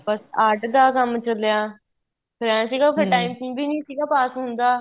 ਬੱਸ art ਦਾ ਕੰਮ ਚੱਲਿਆ ਫ਼ੇਰ ਏ ਸੀਗਾ ਫ਼ੇਰ time ਟੂਮ ਨਹੀਂ ਸੀਗਾ pass ਹੁੰਦਾ